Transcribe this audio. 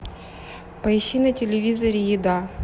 поищи на телевизоре еда